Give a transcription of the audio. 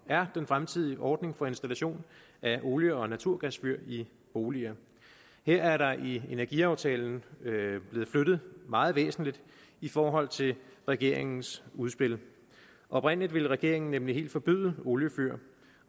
er den fremtidige ordning for installation af olie og naturgasfyr i boliger her er der i energiaftalen blevet flyttet meget væsentligt i forhold til regeringens udspil oprindelig ville regeringen nemlig helt forbyde oliefyr